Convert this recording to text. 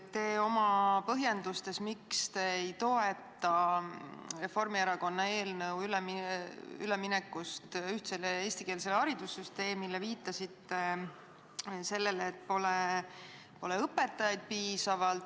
Te oma põhjendustes, miks te ei toeta Reformierakonna eelnõu ülemineku kohta ühtsele eestikeelsele haridussüsteemile, viitasite sellele, et pole piisavalt õpetajaid.